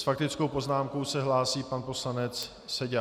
S faktickou poznámkou se hlásí pan poslanec Seďa.